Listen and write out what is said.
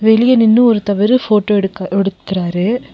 வெளிய நின்னு ஒருத்தவரு போட்டோ எடுக்க எடுக்குறாரு.